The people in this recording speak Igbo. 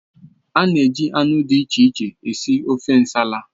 A na-eji anụ dị iche iche sie ofe Nsala.